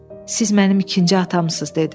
siz mənim ikinci atamsız dedi.